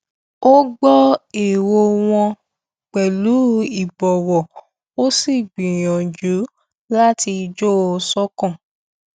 ó gbọ èrò wọn pẹlú ìbòwò ó sì gbìyànjú láti jọ ṣòkan